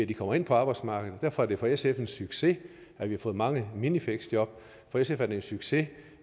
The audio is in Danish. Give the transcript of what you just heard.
de kommer ind på arbejdsmarkedet derfor er det for sf en succes at vi har fået mange minifleksjob for sf er det en succes